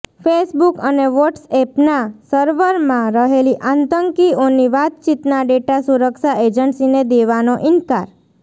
Facebook અને વોટસએપના સર્વરમાં રહેલી આતંકીઓની વાતચીતના ડેટા સુરક્ષા એજન્સીને દેવાનો ઈન્કાર